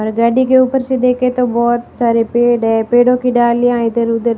हर गाड़ी के ऊपर से देखे तो बहुत सारे पेड़ है पेड़ों की डालीयां इधर उधर --